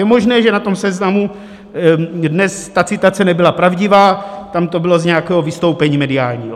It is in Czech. Je možné, že na tom seznamu dnes ta citace nebyla pravdivá, tam to bylo z nějakého vystoupení mediálního.